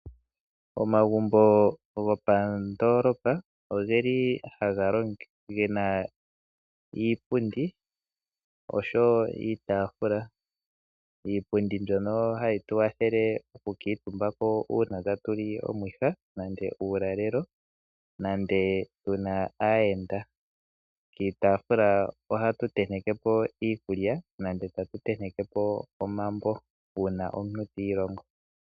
Omagumbo gopandoolopa ofe li ge na iipundi oshowo iitafula. Iipundi mbyono hayi tu kwathele okukiitumbako uuna tatu li omwiha, tatu li uulalelo nenge tu na aayenda . Kiitafula ohatu tenteke ko iikulya nenge omambo uuna omuntu tiilongo.